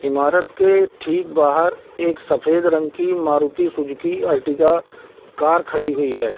इमारात के ठीक बाहर एक सफ़ेद रंग की मारुती सुजुकी कार खड़ी हुई है।